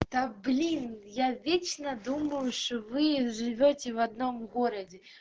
да блин я вечно думаешь вы живете в одном городе